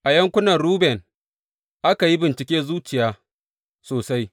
A yankunan Ruben aka yi bincike zuciya sosai.